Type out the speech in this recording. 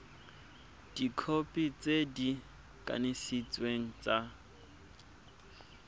dikhopi tse di kanisitsweng tsa